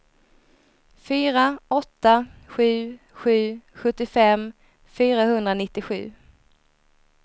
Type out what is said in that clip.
fyra åtta sju sju sjuttiofem fyrahundranittiosju